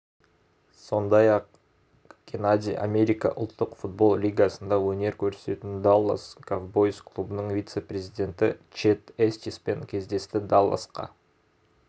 сондай-ақ геннадий америка ұлттық футбол лигасында өнер көрсететін даллас ковбойз клубының вице-президенті чед эстиспен кездесті далласқа